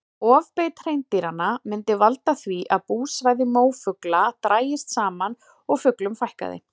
Ofbeit hreindýranna myndi valda því að búsvæði mófugla drægist saman og fuglum fækkaði.